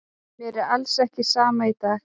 Mér er alls ekki sama í dag.